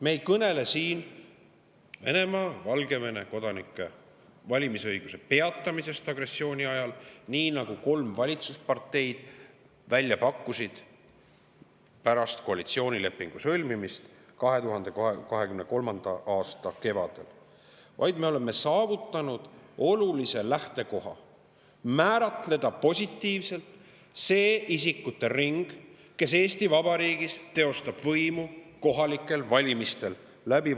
Me ei kõnele siin Venemaa ja Valgevene kodanike valimisõiguse peatamisest agressiooni ajaks, nagu kolm valitsusparteid välja pakkusid pärast koalitsioonilepingu sõlmimist 2023. aasta kevadel, vaid me oleme saavutanud olulise lähtekoha: määratleda positiivselt see isikute ring, kes teostab valimisõiguse kaudu Eesti Vabariigis kohalikel valimistel võimu.